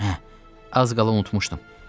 Az qala unutmuşdum.